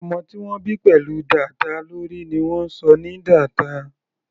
Ọmọ tí wọ́n bí pẹ̀lú dàda lórí ni wọ́n ń sọ ní dàda.